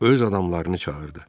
Öz adamlarını çağırdı.